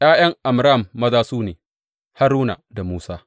’Ya’yan Amram maza su ne, Haruna da Musa.